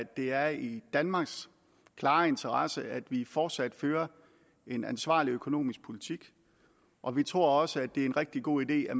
det er i danmarks klare interesse at vi fortsat fører en ansvarlig økonomisk politik og vi tror også det er en rigtig god idé at